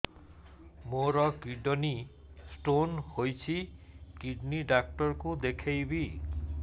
ମୋର kidney stone ହେଇଛି kidney doctor କୁ ଦେଖାଇବି